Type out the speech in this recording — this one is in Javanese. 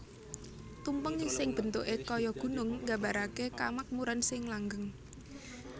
Tumpeng sing bentuke kaya Gunung nggambarake kamakmuran sing langgeng